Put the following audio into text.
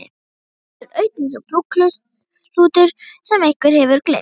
Húsið stendur autt eins og brúkshlutur sem einhver hefur gleymt.